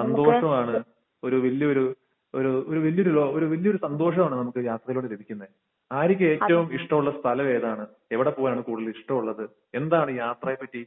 സന്തോഷമാണ്, ഒരു വലിയ ഒരു ഒരു വലിയ ഒരു ഒരു വലിയ ഒരു സന്തോഷമാണ് നമുക്ക് യാത്രയിലൂടെ ലഭിക്കുന്നത്. ആര്യയ്ക്ക് ഏറ്റവും ഇഷ്ടമുള്ള സ്ഥലം ഏതാണ്? എവിടെ പോകാനാണ് കൂടുതൽ ഇഷ്ടമുള്ളത്? എന്താണ് യാത്രയെപ്പറ്റി